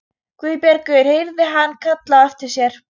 Guðbergur heyrði hann kallað á eftir sér.